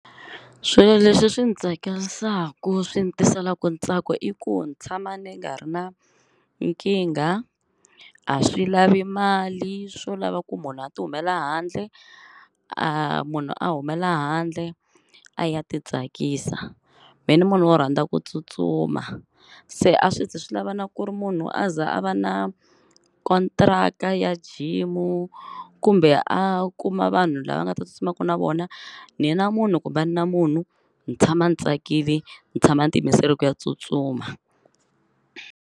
Swilo leswi swi ndzi tsakisaka swi ni tiselaka ntsako i ku ni tshama ni nga ri na nkingha a swi lavi mali swo lava ku munhu a ti humela handle a munhu a humela handle a ya titsakisa, mehe ni munhu wo rhandza ku tsutsuma se a swi zi swi lava na ku ri munhu a za a va na contract ya gym kumbe a kuma vanhu lava nga ta tsutsumaka na vona ni ya na munhu ku va na munhu ndzi tshama ndzi tsakile ndzi tshama ndzi tiyimiserile ku ya tsutsuma.